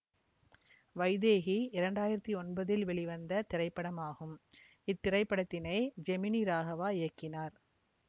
வைதேகி இரண்டு ஆயிரத்தி ஒன்பதில் வெளிவந்த திரைப்படமாகும் இத்திரைப்படத்தினை ஜெமினி ராகவா இயக்கினார்